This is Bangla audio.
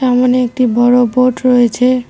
ওখানে একটি বড় বোর্ড রয়েছে।